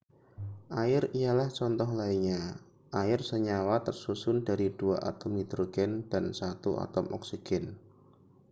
air ialah contoh lainnya air senyawa tersusun dari dua atom hidrogen dan satu atom oksigen